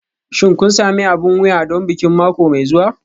Shin kun sami abin wuya don bikin mako mai zuwa?